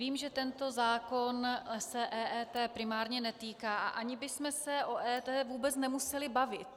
Vím, že tento zákon se EET primárně netýká a ani bychom se o EET vůbec nemuseli bavit.